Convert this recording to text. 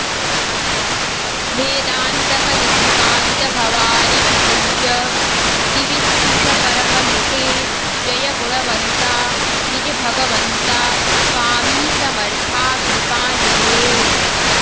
भेदांतक निशिकांत भवारि विभुज दिविस्पृश परमनिटे जय गुणवंता निज भगवंता स्वामी समर्था कृपानिधे